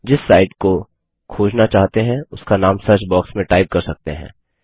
जिस साईट को खोजना चाहते हैं उसका नाम सर्च बॉक्स में टाइप कर सकते हैं